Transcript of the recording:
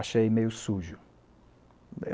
Achei meio sujo.